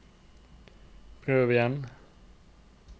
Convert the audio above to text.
prøv igjen